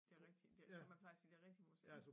Det rigtige som jeg plejer at sige det rigtige museum